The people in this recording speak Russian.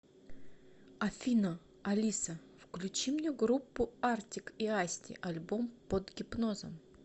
афина алиса включи мне группу артик и асти альбом под гипнозом